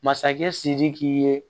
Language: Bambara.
Masakɛ sidiki ye